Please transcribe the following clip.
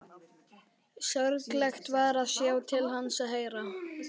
Sorglegt var að sjá til hans og heyra.